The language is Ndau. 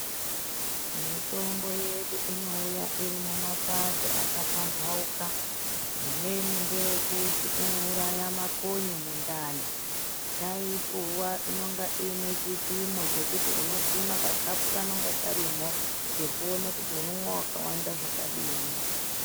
Mitombo yedu inouya iri mumapato akapamphauka, imweni ngeyekuti inouraya makonye mundani. Taipuwa inonga iine chipimo chekuti unopima kakhapu kanonga karimo, kekuone kuti unomwa wakawanda zvakadini.